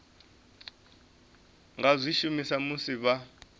nga zwi shumisa musi vha